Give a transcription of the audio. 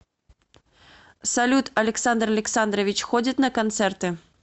салют александр александрович ходит на концерты